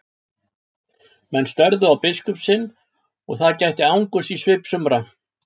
Menn störðu á biskup sinn og það gætti angurs í svip sumra.